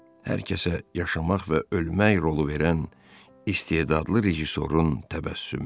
Hər kəsə yaşamaq və ölmək rolu verən istedadlı rejissorun təbəssümü.